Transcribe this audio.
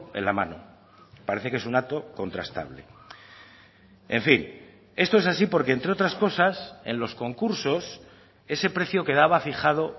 en la mano parece que es un dato contrastable en fin esto es así porque entre otras cosas en los concursos ese precio quedaba fijado